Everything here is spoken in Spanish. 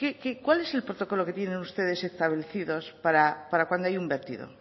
cuál es el protocolo que tienen ustedes establecidos para cuando hay un vertido